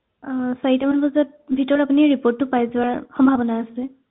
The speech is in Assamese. অ চাৰিটা মান বজাত ভিতৰত আপুনি report টো পাই যোৱাৰ সম্ভাৱনা আছে